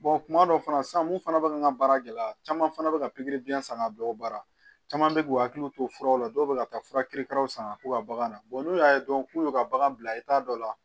kuma dɔ fana san mun fana bɛ n ka baara gɛlɛya caman fana bɛ ka pikiri biyɛn san ka bila o baara caman bɛ k'u hakili to furaw la dɔw bɛ ka taa fura kerekalaw san k'u ka bagan na n'u y'a dɔn k'u y'u ka bagan bila i t'a dɔ la